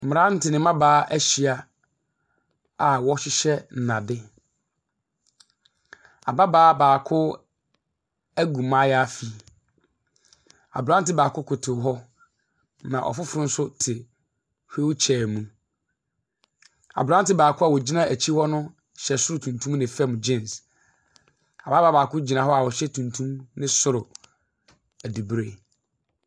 Mmranteɛ ne mmabaa ahyia a ɔrehyehyɛ nnade. Ababaa baako ɛgu maayaafi. Abranteɛ baako koto hɔ na ɔfoforɔ nso te wheel chair mu. Abranteɛ baako a ɔgyina ɛkyi hɔ no hyɛ soro tuntum ne fam jeans. Ababaa baako gyina hɔ a ɔhyɛ tuntum ne soro ɛbibre.